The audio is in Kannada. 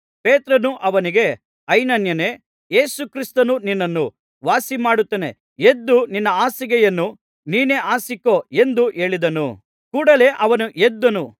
ಪೇತ್ರನು ಅವನಿಗೆ ಐನೇಯನೇ ಯೇಸು ಕ್ರಿಸ್ತನು ನಿನ್ನನ್ನು ವಾಸಿಮಾಡುತ್ತಾನೆ ಎದ್ದು ನಿನ್ನ ಹಾಸಿಗೆಯನ್ನು ನೀನೇ ಹಾಸಿಕೋ ಎಂದು ಹೇಳಿದನು ಕೂಡಲೆ ಅವನು ಎದ್ದನು